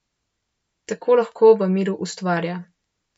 Tako lahko v miru ustvarja.